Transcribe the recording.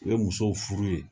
U ye musow furu ye